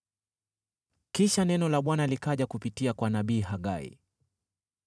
Kisha neno la Bwana likaja kupitia kwa nabii Hagai: